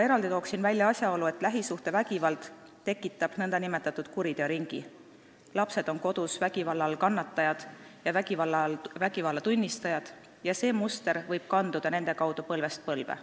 Eraldi toon välja asjaolu, et lähisuhtevägivald tekitab nn kuriteoringi: lapsed on kodus vägivalla all kannatajad ja vägivalla tunnistajad ning see muster võib kanduda nende kaudu põlvest põlve.